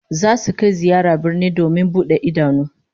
Zasu kai ziyara birni domin bude idanu